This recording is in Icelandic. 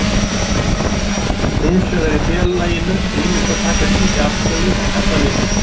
Hins vegar er félaginu heimilt að taka slíka afstöðu ef það vill.